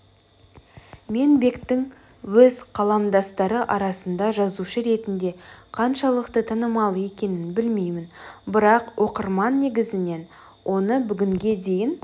мен бектің өз қаламдастары арасында жазушы ретінде қаншалықты танымал екенін білмеймін бірақ оқырман негізінен оны бүгінге дейін